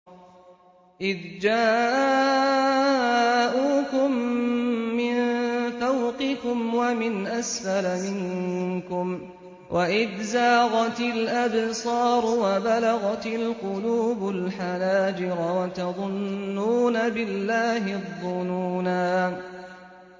إِذْ جَاءُوكُم مِّن فَوْقِكُمْ وَمِنْ أَسْفَلَ مِنكُمْ وَإِذْ زَاغَتِ الْأَبْصَارُ وَبَلَغَتِ الْقُلُوبُ الْحَنَاجِرَ وَتَظُنُّونَ بِاللَّهِ الظُّنُونَا